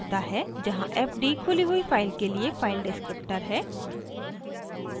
जहाँ fd खुली हुई फाइल के लिए फाइल डिस्क्रिप्टर है